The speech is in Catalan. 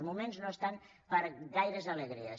els moments no estan per a gaires alegries